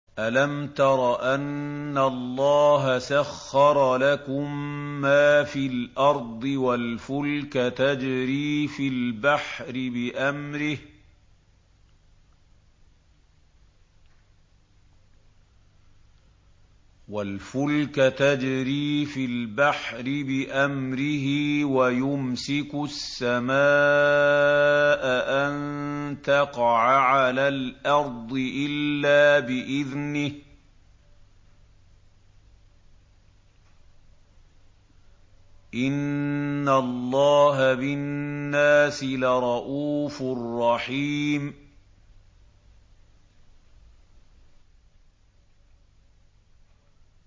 أَلَمْ تَرَ أَنَّ اللَّهَ سَخَّرَ لَكُم مَّا فِي الْأَرْضِ وَالْفُلْكَ تَجْرِي فِي الْبَحْرِ بِأَمْرِهِ وَيُمْسِكُ السَّمَاءَ أَن تَقَعَ عَلَى الْأَرْضِ إِلَّا بِإِذْنِهِ ۗ إِنَّ اللَّهَ بِالنَّاسِ لَرَءُوفٌ رَّحِيمٌ